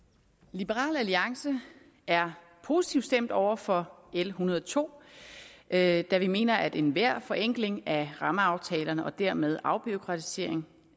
liberal alliance er positivt stemt over for l en hundrede og to da da vi mener at enhver forenkling af rammeaftalerne og dermed afbureaukratisering